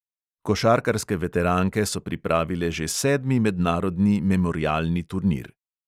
Košarkarske veteranke so pripravile že sedmi mednarodni memorialni turnir.